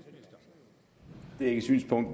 men